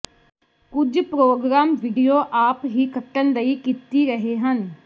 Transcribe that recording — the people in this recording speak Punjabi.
ਕੁਝ ਪ੍ਰੋਗਰਾਮ ਵੀਡੀਓ ਆਪ ਹੀ ਕੱਟਣ ਲਈ ਕੀਤੀ ਰਹੇ ਹਨ